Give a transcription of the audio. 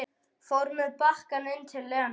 Fór með bakkann inn til Lenu.